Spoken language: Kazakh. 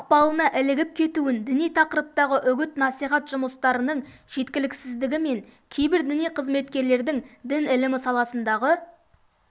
ықпалына ілігіп кетуін діни тақырыптағы үгіт-насихат жұмыстарының жеткіліксіздігі мен кейбір діни қызметкерлердің дін ілімі саласындағы